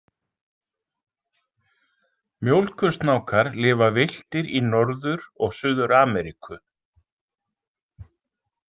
Mjólkursnákar lifa villtir í Norður- og Suður-Ameríku.